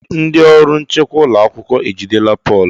Ee! Ndị ọrụ nchekwa ụlọ akwụkwọ ejidela Pọl.